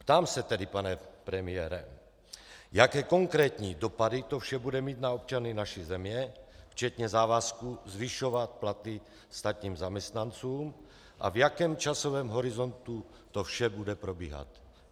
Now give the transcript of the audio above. Ptám se tedy, pane premiére, jaké konkrétní dopady to vše bude mít na občany naší země včetně závazku zvyšovat platy státním zaměstnancům a v jakém časovém horizontu to vše bude probíhat.